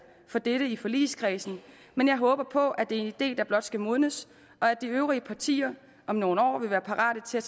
for dette i forligskredsen men jeg håber på at det er en idé der blot skal modnes og at de øvrige partier om nogle år vil være parate til at